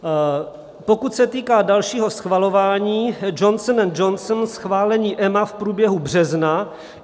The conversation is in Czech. Pokud se týká dalšího schvalování, Johnson & Johnson - schválení EMA v průběhu března.